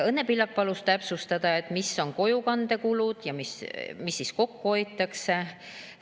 Õnne Pillak palus täpsustada, mis on kojukandekulud ja mis siis kokku hoitakse.